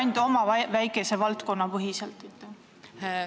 ... või teete ettepaneku ainult oma väikese valdkonna põhiselt?